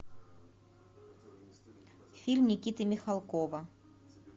фильм никиты михалкова